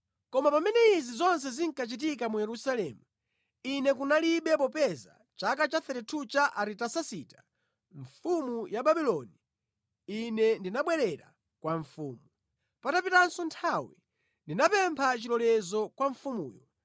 Koma pamene izi zonse zinkachitika mu Yerusalemu, ine kunalibe popeza mʼchaka cha 32 cha Aritasasita mfumu ya Babuloni ine ndinabwerera kwa mfumu. Patapitanso nthawi ndinapempha chilolezo kwa mfumuyo